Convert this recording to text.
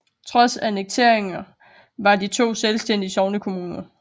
Trods annekteringen var de to selvstændige sognekommuner